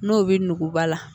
N'o bɛ nuguba la